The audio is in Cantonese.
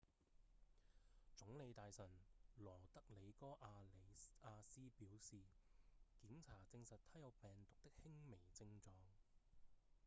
總理大臣羅德里戈·阿里亞斯表示檢查證實他有病毒的輕微症狀